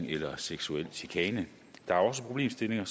eller seksuel chikane der er også problemstillinger